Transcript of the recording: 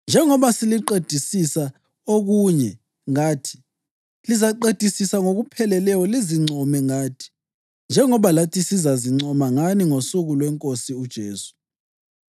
njengoba seliqedisisa okunye ngathi, lizaqedisisa ngokupheleleyo lizincome ngathi njengoba lathi sizazincoma ngani ngosuku lweNkosi uJesu.